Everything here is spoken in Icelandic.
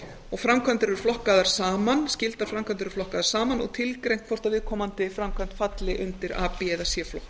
og skyldar framkvæmdir er flokkaðar saman og tilgreint hvort viðkomandi framkvæmd falli undir a b eða c flokk